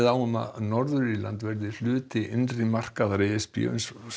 á um að Norður Írland verði hluti innri markaðar e s b uns